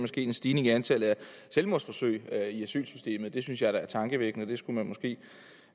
sket en stigning i antallet af selvmordsforsøg i asylsystemet det synes jeg da er tankevækkende og det skulle man måske